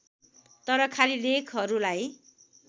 तर खाली लेखहरूलाई